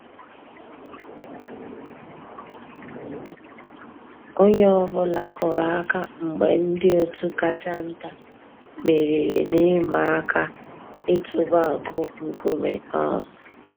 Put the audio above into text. Ónyé ọ̀ bụ́là kùrù àkà mg̀bé ndị́ ótú kàchà ntá mèrírí n'ị̀màà àká ị̀tụ́bà nkúmé. um